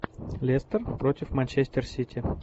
лестер против манчестер сити